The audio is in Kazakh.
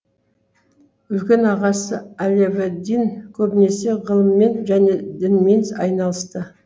үлкен ағасы алевэддин көбінесе ғылыммен және дінмен айналысты